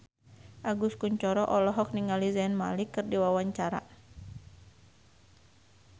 Agus Kuncoro olohok ningali Zayn Malik keur diwawancara